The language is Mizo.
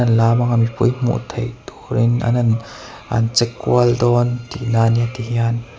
lam anga mipui hmuh theih turin an han an che kual dawn tihna ania tihian.